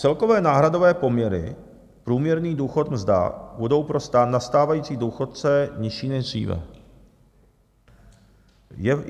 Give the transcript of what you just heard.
Celkové náhradové poměry průměrný důchod - mzda budou pro nastávající důchodce nižší než dříve.